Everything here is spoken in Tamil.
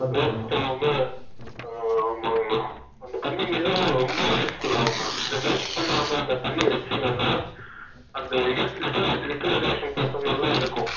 waste ஆகாம அஹ ஆமாங்கண்ணா அந்த தண்ணி மிக ரொம்ப useful ஆகும்ண்ணா இத waste பண்ணாம அந்த தண்ணிய வெச்சிங்கன்ன அந்த litera literaation process க்கு நல்லா இருக்கும்